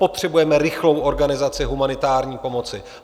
Potřebujeme rychlou organizaci humanitární pomoci.